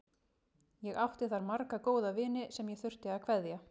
Ég átti þar marga góða vini sem ég þurfti að kveðja.